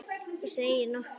Þú segir nokkuð!